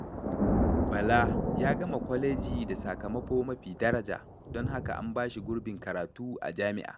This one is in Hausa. Bala ya gama kwaleji da sakamako mafi daraja, don haka an ba shi gurbin karatu a jami'a.